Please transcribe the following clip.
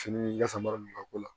Fini kasara ninnu ka ko la